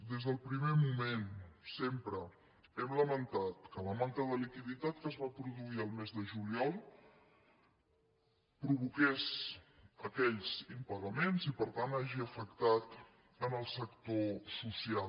des del primer moment sempre hem lamentat que la manca de liquiditat que es va produir el mes de juliol provoqués aquells impagaments i per tant hagi afectat el sector social